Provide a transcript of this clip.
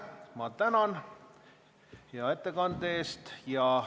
Ma tänan hea ettekande eest!